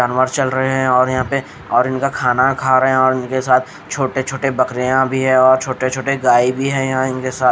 जानवर चल रहे हैं और यहाँ पे और इनका खाना खा रहे हैं और इनके साथ छोटे-छोटे बकरियाँ भी है और छोटे-छोटे गाय भी हैं यहाँ इनके साथ।